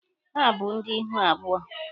Ha bụ ndị ihu abụọ.